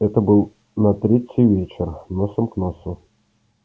это было на третий вечер носом к носу